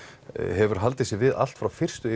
hefur haldið sig við allt frá fyrstu